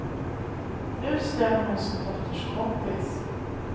Nu stämmer hon sin dotters kompis.